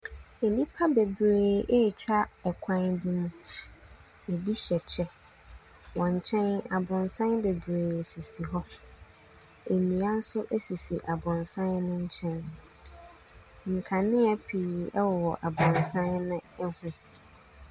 Nipa bebree ɛtwa kwan bi mu ebi hyɛ kyɛw wɔn nkyɛn aborosan bebree sisi hɔ ndua nso sisi aborosan no nkyɛn nkanea pii wɔ aborosan ne hɔn.